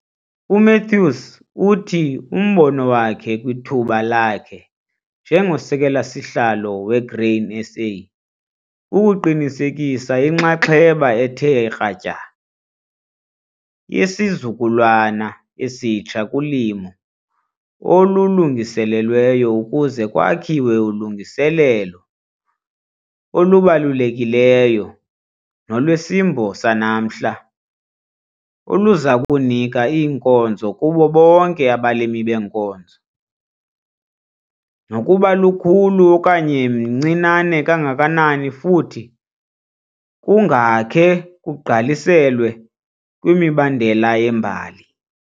UMathews uthi umbono wakhe kwithuba lakhe njengoSekela-sihlalo weGrain SA kukuqinisekisa inxaxheba ethe kratya yesizukulwana esitsha kulimo olulungiselelweyo ukuze kwakhiwe ulungiselelo olubalulekileyo nolwesimbo sanamhla oluza kunika inkonzo kubo bonke abalimi beenkozo, nokuba lukhulu okanye mncinane kangakanani futhi kungakhe kugqaliselwe kwimibandela yembali.